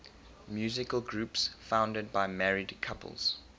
musical groups founded by married couples